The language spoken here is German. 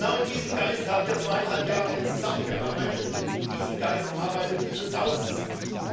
Genau in diesem Geist haben wir jetzt zweieinhalb Jahre zusammengearbeitet, und in diesem Geist arbeitet dieses Haus zusammen.